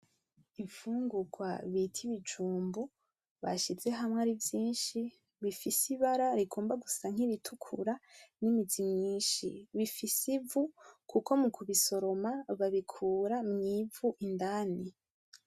Imfungugwa bita ibijumbu bashize hamwe ari vyinshi bifise ibara rigomba gusa nkiritukura nimizi myinshi bifise ivu kuko mukubisoroma babikura mwivu indani.